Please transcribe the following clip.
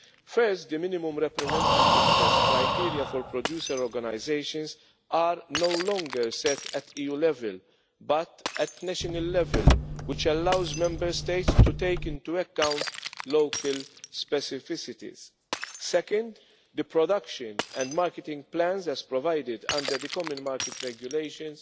First, the minimum representativeness criteria for producer organisations are no longer set at EU level but at national level, which allows Member States to take into account local specificities. Second, the production and marketing plans as provided under the common market regulations